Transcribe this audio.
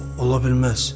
O ola bilməz!